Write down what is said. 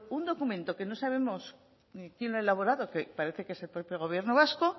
un documento que no sabemos ni quién lo ha elaborado que parece que es el propio gobierno vasco